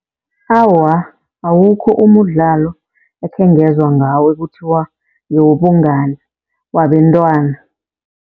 Awa, awukho umdlalo ekhengezwa ngawo ekuthiwa ngewobungani wabentwana.